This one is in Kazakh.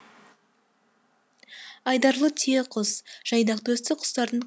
айдарлы түйеқұс жайдақ төсті құстардың